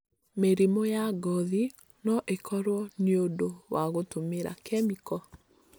Mĩrimũ ya ngothi no ikorwo nĩ ũndũ wa gũtũmĩra kemiko.